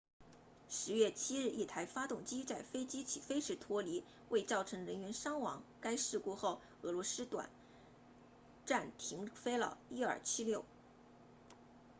10月7日一台发动机在飞机起飞时脱离未造成人员伤亡该事故后俄罗斯短暂停飞了伊尔76